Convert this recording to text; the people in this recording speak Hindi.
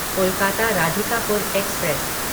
कोलकाता राधिकापुर एक्सप्रेस